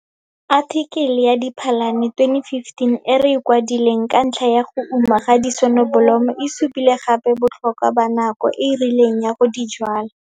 Athikele ya Diphalane 2015 e re e kwadileng ka ntlha ya go uma ga disonobolomo e supile gape botlhokwa ba nako e e rileng ya go di jwala.